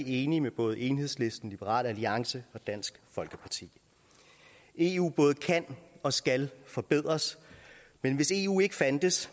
enige med både enhedslisten liberal alliance og dansk folkeparti eu både kan og skal forbedres men hvis eu ikke fandtes